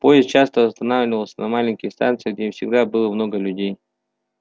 поезд часто останавливался на маленьких станциях где всегда было много людей